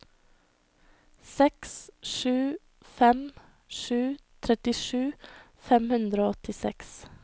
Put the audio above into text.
seks sju fem sju trettisju fem hundre og åttiseks